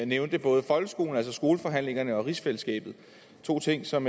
nævnte både folkeskolen altså skoleforhandlingerne og rigsfællesskabet to ting som